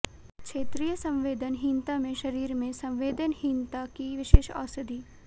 क्षेत्रीय संवेदनहीनता में शरीर में संवेदनहीनता की विशेष औषधि